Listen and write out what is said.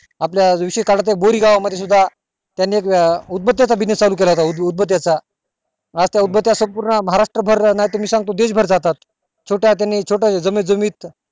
आपल्या बोरी गावा मध्ये सुद्धा त्यांनी एक उदबत्या चा चालू केला होता उदबत्या चा आज त्या उदबत्या संपूर्ण महाराष्ट्रा भर नाही त मी सांगतो देश भर जातात छोट्या जणी छोटं जमीत जमीत